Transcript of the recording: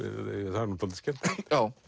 það er nú dálítið skemmtilegt